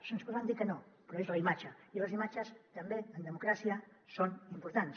se’ns podrà dir que no però és la imatge i les imatges també en democràcia són importants